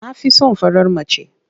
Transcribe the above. Na fi son farar mace.